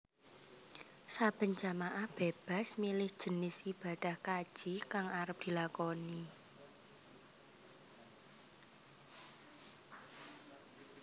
Saben jamaah bébas milih jinis ibadah kaji kang arep dilakoni